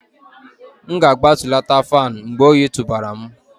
M ga-agbatulata fan mgbe oyi tụbara m